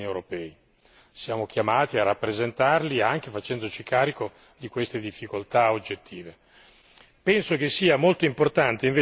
Non credo questo sia significativo per i cittadini europei perché siamo chiamati a rappresentarli, anche facendoci carico di queste difficoltà oggettive.